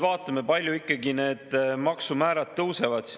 Vaatame, kui palju ikkagi need maksumäärad tõusevad.